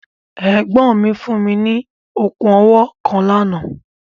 Ẹ̀gbọ́n mi fún mi ní okùn owó kan lánàá.